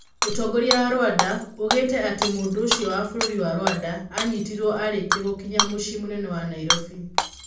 ũtongoria wa Rwanda ugĩte atĩ mũndũũcio wa bũrũri wa Rwanda anyitirwo arĩkia gũkinya mũciĩ mũnene wa Nairobi.